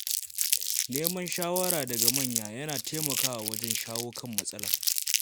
Neman shawara daga manya yana taimakawa wajen shawo kan matsaloli.